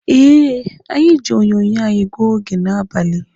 Eh, anyị ji onyonyo anyị gụọ oge n'abalị